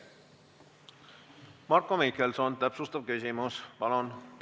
Marko Mihkelson, täpsustav küsimus, palun!